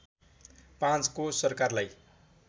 ५ को सरकारलाई